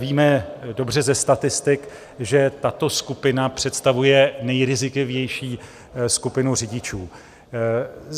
Víme dobře ze statistik, že tato skupina představuje nejrizikovější skupinu řidičů.